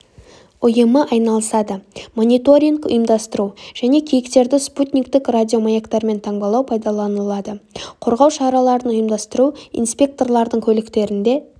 ұйымы айналысады мониторинг ұйымдастыру және киіктерді спутниктік радиомаяктармен таңбалау пайдаланылады қорғау шараларын ұйымдастыру инспекторлардың көліктерінде